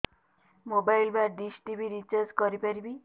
mobile ବା dish TV recharge କରି ପାରିବି